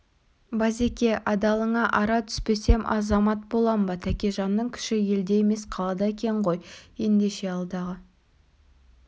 базеке адалыңа ара түспесем азамат болам ба тәкежанның күші елде емес қалада екен ғой ендеше алдағы